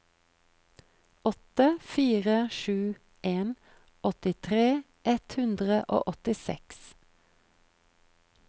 åtte fire sju en åttitre ett hundre og åttiseks